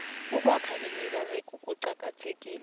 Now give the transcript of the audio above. ukwakha imiberego kucakathekile